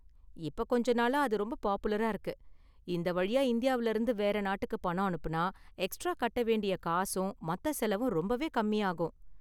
இப்போ கொஞ்ச நாளா அது ரொம்ப பாப்புலரா இருக்கு, இந்த வழியா இந்தியாவுல இருந்து வேற நாட்டுக்கு பணம் அனுப்புனா எக்ஸ்ட்ரா கட்ட வேண்டிய காசும், மத்த செலவும் ரொம்பவே கம்மியாகும்.